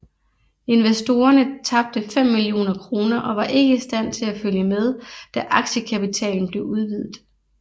Investorerne tabte 5 millioner kroner og var ikke i stand til at følge med da aktiekapitalen blev udvidet